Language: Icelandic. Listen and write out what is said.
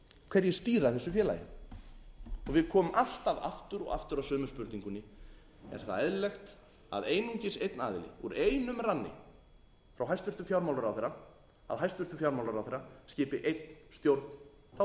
hverjir stýra þessu félagi og við komum alltaf aftur og aftur að sömu spurningunni er það eðlilegt að einungis einn aðili úr einum ranni frá hæstvirtum fjármálaráðherra að hæstvirtur fjármálaráðherra skipi einn stjórn þá